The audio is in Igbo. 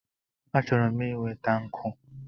Achọrọ m inweta nkụ